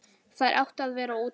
Þær áttu að vera úti.